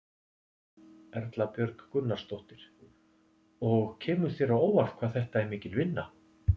Erla Björg Gunnarsdóttir: Og kemur þér á óvart hvað þetta er mikil vinna?